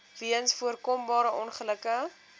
weens voorkombare ongelukke